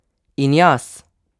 In jaz?